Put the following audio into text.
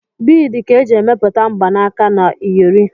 Biidi ka eji emepụta mgbanaka na iyori.